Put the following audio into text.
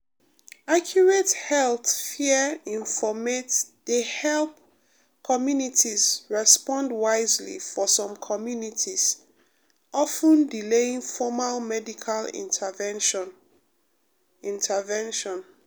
accurate health fear informate de help communities respond wisely for some communities of ten delaying formal medical intervention. intervention.